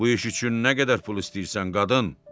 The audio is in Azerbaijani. Bu iş üçün nə qədər pul istəyirsən, qadın?